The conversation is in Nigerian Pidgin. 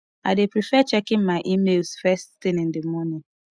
i dey prefer checking my emails first thing in the morning